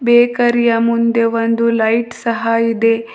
ಬೇಕರಿಯ ಮುಂದೆ ಒಂದು ಲೈಟ್ ಸಹ ಇದೆ.